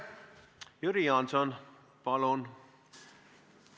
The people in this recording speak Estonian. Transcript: Jüri Jaanson, palun!